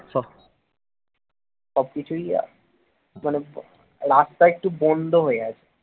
সবকিছুই যেন রাস্তা একটু বন্ধ হয়ে আছে